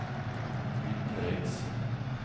utenriks